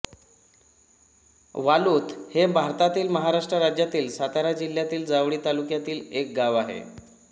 वालूथ हे भारतातील महाराष्ट्र राज्यातील सातारा जिल्ह्यातील जावळी तालुक्यातील एक गाव आहे